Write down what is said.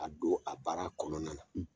A don a baara kɔnɔna na.